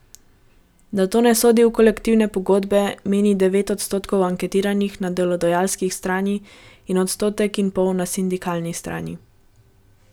Da to ne sodi v kolektivne pogodbe, meni devet odstotkov anketiranih na delodajalski strani in odstotek in pol na sindikalni strani.